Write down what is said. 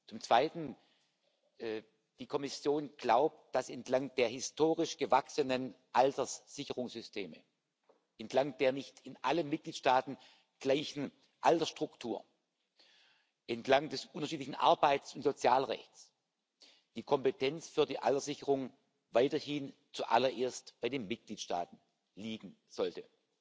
Zum Zweiten Die Kommission glaubt, dass entlang der historisch gewachsenen Alterssicherungssysteme, entlang der nicht in allen Mitgliedstaaten gleichen Altersstruktur, entlang des unterschiedlichen Arbeits und Sozialrechts die Kompetenz für die Alterssicherung weiterhin zuallererst bei den Mitgliedstaaten liegen sollte.